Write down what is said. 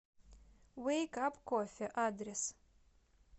вейк ап кофе адрес